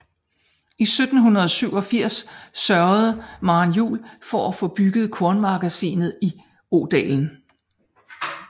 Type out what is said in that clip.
I 1787 sørgede Maren Juel for at få bygget kornmagasinet i Odalen